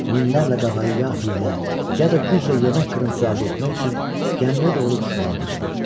Minlərlə qağayı ya hiylə, ya da güclə yemək qırıntısı əldə etmək üçün gəmiyə doğru düşməyə başladı.